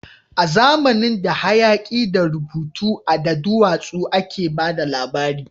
A zamanin da, hayaki da rubutu a duwatsu a ke ba da labari